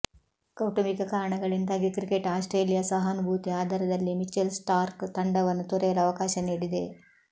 ಕೌಟುಂಬಿಕ ಕಾರಣಗಳಿಂದಾಗಿ cricket Australia ಸಹಾನುಭೂತಿಯ ಆಧಾರದಲ್ಲಿ ಮಿಚೆಲ್ ಸ್ಟಾರ್ಕ್ ತಂಡವನ್ನು ತೊರೆಯಲು ಅವಕಾಶ ನೀಡಿದೆ